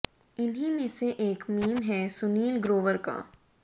इन्हीं में से एक मीम है सुनील ग्रोवर का